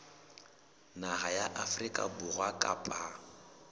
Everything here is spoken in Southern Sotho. naha ya afrika borwa kapa